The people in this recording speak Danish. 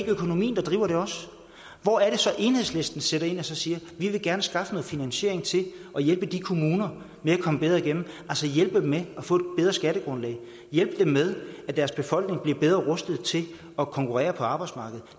økonomien der driver det hvor er det så at enhedslisten sætter ind og siger vi vil gerne skaffe noget finansiering til at hjælpe de kommuner med at komme bedre igennem altså hjælpe dem med at få et bedre skattegrundlag hjælpe dem med at deres befolkning bliver bedre rustet til at konkurrere på arbejdsmarkedet